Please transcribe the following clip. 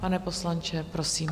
Pane poslanče, prosím.